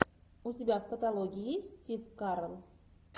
у тебя в каталоге есть стив карелл